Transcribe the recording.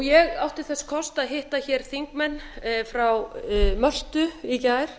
ég átti þess kost að hitta hér þingmenn frá möltu í gær